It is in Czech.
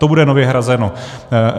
To bude nově hrazeno.